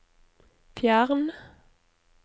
fjern